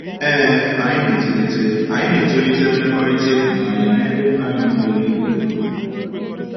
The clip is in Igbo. Ee, anyị na-etolite, anyị na-etolite mmekọrịta ịhụnanya n’ebe Nna anyị nọ n'eluigwe nọ.